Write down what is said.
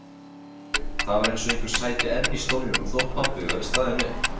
Það var eins og einhver sæti enn í stólnum þótt pabbi væri staðinn upp.